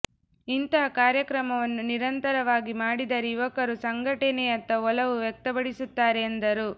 ಇಂತಹ ಕಾರ್ಯಕ್ರಮವನ್ನು ನಿರಂತರವಾಗಿ ಮಾಡಿದರೆ ಯುವಕರು ಸಂಘಟನೆಯತ್ತ ಒಲವು ವ್ಯಕ್ತಪಡಿಸುತ್ತಾರೆ ಎಂದರು